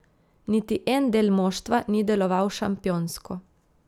Niti en del moštva ni deloval šampionsko.